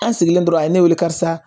An sigilen tora a ye ne wele karisa